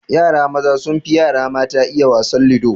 Yara maza sun fi yara mata iya wasan ludo